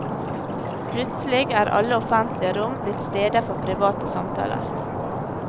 Plutselig er alle offentlige rom blitt steder for private samtaler.